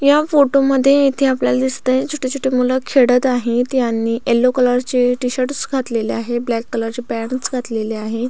या फोटो मध्ये इथे आपल्याला दिसत आहे छोटे छोटे मुल खेडत आहेत त्यानी येलो कलर चे टी शर्ट घातलेले आहेत ब्लॅक कलर चे पॅन्ट्स घातलेले आहे.